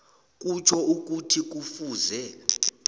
kutjho ukuthi kufuze